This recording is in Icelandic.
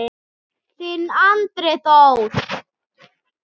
Þinn Andri Þór.